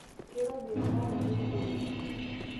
keirobi ene are naitukuoreki?